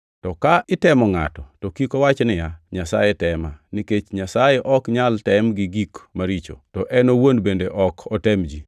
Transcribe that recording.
To ka itemo ngʼato to kik owach niya, “Nyasaye tema.” Nikech Nyasaye ok nyal tem gi gik maricho, to en owuon bende ok otem ji